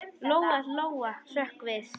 Lóa-Lóa hrökk við.